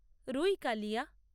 রুই কালিয়া